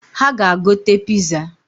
Ha ga-agote piza